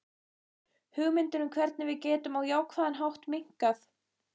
Hugmyndir um hvernig við getum á jákvæðan hátt minnkað.